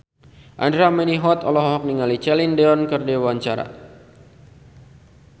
Andra Manihot olohok ningali Celine Dion keur diwawancara